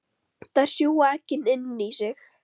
Þær sjúga eggin inn í sig.